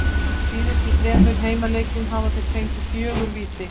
Í síðustu þremur heimaleikjum hafa þeir fengið fjögur víti.